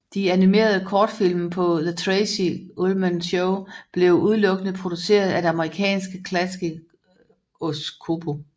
De animerede kortfilm på The Tracey Ullman Show blev udelukkende produceret af det amerikanske Klasky Csupo